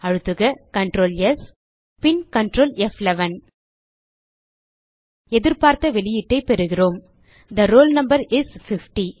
அழுத்துக CtrlS பின் Ctrl ப்11 எதிர்பார்த்த வெளியீட்டை பெறுகிறோம் தே ரோல் நம்பர் இஸ் 50